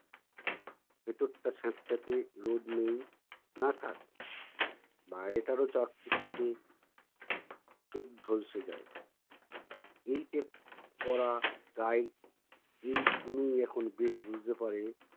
ভেতরটা স্যাঁতস্যাঁতে রোদ নেই। না থাক। বাইরেটারও চাকচিক্যে চোখ ঝলসে যায়। এই তেত করা টাই কুনকুনিয়ে এখন বেশ বুঝতে পারে